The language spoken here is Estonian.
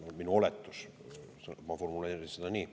See on minu oletus, ma formuleerin seda nii.